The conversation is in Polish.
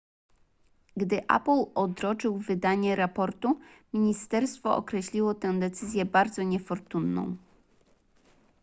gdy apple odroczył wydanie raportu ministerstwo określiło tę decyzję bardzo niefortunną